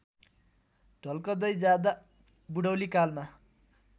ढल्कँदै जाँदा बूढौलीकालमा